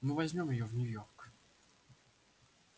мы возьмём её в нью-йорк